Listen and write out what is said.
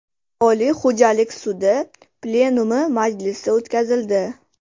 Oliy xo‘jalik sudi plenumi majlisi o‘tkazildi.